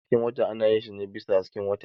Wasan hasken wata ana yin shi ne bisa hasken wata.